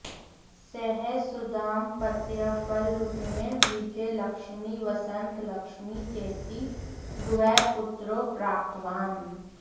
सः सुदाम्पत्यफलरूपेण विजयलक्ष्मी वसन्तलक्ष्मी चेति द्वे पुत्र्यौ प्रप्तवान्